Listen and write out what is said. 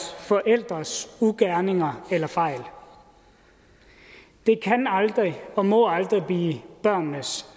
forældres ugerninger eller fejl det kan aldrig og må aldrig blive børnenes